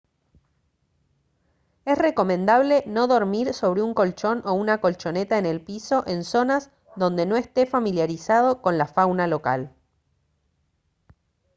es recomendable no dormir sobre un colchón o una colchoneta en el piso en zonas donde no esté familiarizado con la fauna local